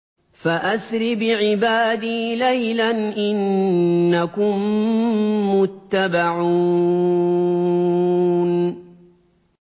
فَأَسْرِ بِعِبَادِي لَيْلًا إِنَّكُم مُّتَّبَعُونَ